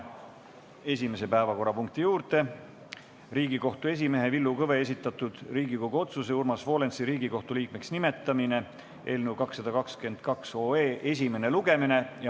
Läheme esimese päevakorrapunkti juurde: Riigikohtu esimehe Villu Kõve esitatud Riigikogu otsuse "Urmas Volensi Riigikohtu liikmeks nimetamine" eelnõu 222 esimene lugemine.